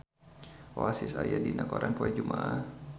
Oasis aya dina koran poe Jumaah